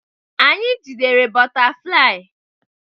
Anyị jidere bọtaflai.